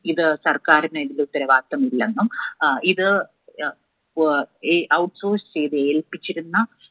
ഇത് സർക്കാരിന് അതിന്റെ ഉത്തരവാദിത്വമില്ലെന്നും ഇത് ഏർ outsource ചെയ്ത് ഏൽപ്പിച്ചിരുന്ന